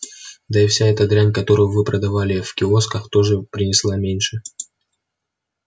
да и вся эта дрянь которую вы продавали в киосках тоже принесла меньше